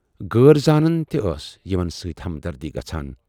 غٲر زانن تہِ ٲس یِمن سۭتۍ ہمدردی گَژھان۔